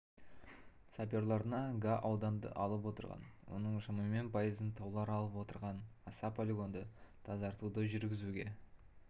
саперларына га ауданды алып отырған оның шамамен пайызын таулар алып отырған аса полигонды тзаратуды жүргізуге